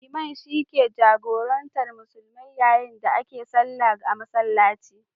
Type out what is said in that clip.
Liman shi ke jagorantar musulmi yayin da ake sallah a masallaci.